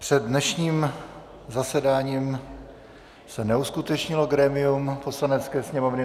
Před dnešním zasedáním se neuskutečnilo grémium Poslanecké sněmovny.